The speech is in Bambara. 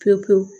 Pewu pewu